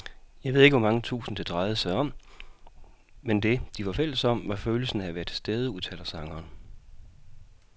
Jeg ved ikke hvor mange tusind, det drejede sig om, men det, de var fælles om, var følelsen af at være tilstede, udtaler sangeren.